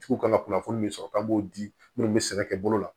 Tigiw ka kan kunnafoni min sɔrɔ k'an b'o di minnu be sɛnɛ kɛ bolo la